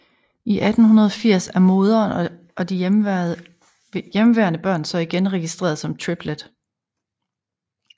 I 1880 er moderen og de hjemmeværende børn så igen registreret som Triplett